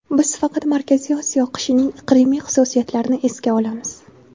Biz faqat Markaziy Osiyo qishining iqlimiy xususiyatlarini esga olamiz.